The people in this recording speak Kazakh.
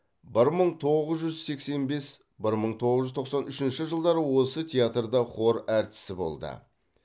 бір мың тоғыз жүз сексен бес бір мың тоғыз жүз тоқсан үшінші жылдары осы театрда хор әртісі болды